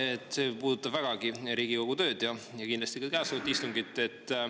Jaa, see puudutab vägagi Riigikogu tööd ja kindlasti ka käesolevat istungit.